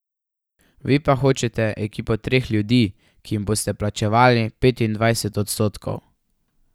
Vi pa hočete ekipo treh ljudi, ki jim boste plačevali petindvajset odstotkov.